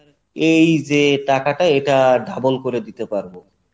এই যে টাকাটা এটা double করে দিতে পারবো।